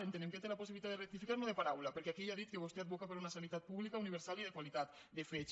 entenem que té la possibilitat de rectificar no de paraula perquè aquí ja ha dit que vostè advoca per una sanitat pública universal i de qualitat de fets